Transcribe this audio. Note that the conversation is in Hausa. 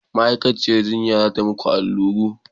Ma'aikaciyar jinya za ta yi muku allura.